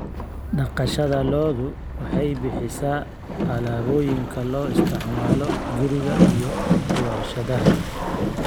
Dhaqashada lo'du waxay bixisaa alaabooyinka loo isticmaalo guriga iyo warshadaha.